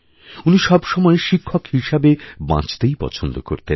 উনি সবসময় শিক্ষক হিসাবে বাঁচতেইপছন্দ করতেন